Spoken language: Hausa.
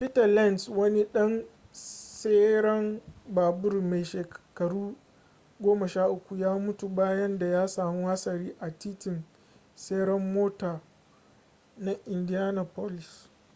peter lenz wani ɗan tseren babur mai shekaru 13 ya mutu bayan da ya samu hatsari a titin tseren mota na indianapolis